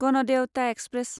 Ganadevata express